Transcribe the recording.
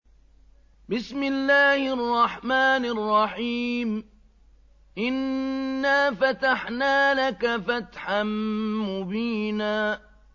إِنَّا فَتَحْنَا لَكَ فَتْحًا مُّبِينًا